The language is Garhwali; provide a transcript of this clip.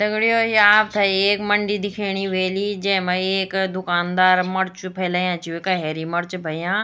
दगड़ियों ये आपथे एक मंडी दिख्येणी वेली जेमा एक दूकानदार मर्च फैलयाँ छी वेका हेरी मर्च भयां।